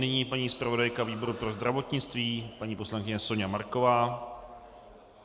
Nyní paní zpravodajka výboru pro zdravotnictví, paní poslankyně Soňa Marková.